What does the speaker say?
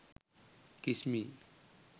kiss me